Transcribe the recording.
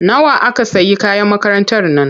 Nawa aka sayi kayan makarantar nan?